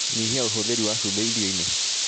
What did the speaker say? Nyihia ũhũthĩri wa cumbĩ irio-inĩ